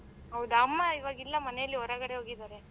ಹೌದಾ ಅಮ್ಮ ಈವಾಗ ಇಲ್ಲ ಮನೆಯಲ್ಲಿ ಹೊರಗಡೆ ಹೋಗಿದಾರೆ.